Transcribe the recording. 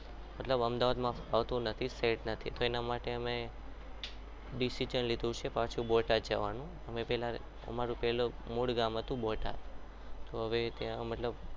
અમદાવાદમાં ફાવતું નથી set નથી તો એના માટે અમે decision લીધું છે પાછું બોટાદ જવાનું અમારું પહેલા મૂળ ગામ હતું બોટાદ તો હવે ત્યાં મતલબ